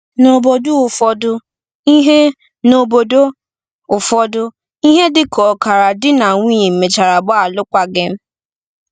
N’obodo ụfọdụ, ihe N’obodo ụfọdụ, ihe dịka ọkara di na nwunye mechara gbaa alụkwaghịm.